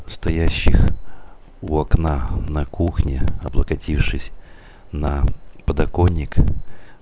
стоящих у окна на кухне облокотившись на подоконник